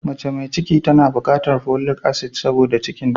Mace mai ciki tana bukatar folic asid don lafiyarta.